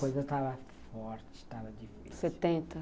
Depois eu estava forte, estava difícil, setenta...